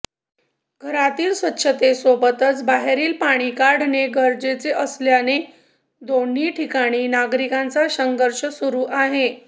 घरातील स्वच्छतेसोबतच बाहेरील पाणी काढणे गरजेचे असल्याने दोन्ही ठिकाणी नागरिकांचा संघर्ष सुरू आहे